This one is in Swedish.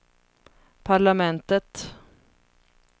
parlamentet